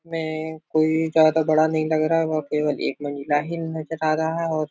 में कोई ज्यादा बड़ा नही लग रहा है वह केवल एक ही महिला नजर आ रहा है और --